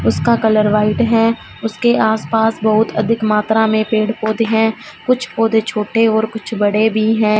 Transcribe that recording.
उसका colour white है उसके आस पास बहुत अधिक मात्रा में पेड़ पौधे हैं कुछ पौधे छोटे और कुछ बड़े भी हैं।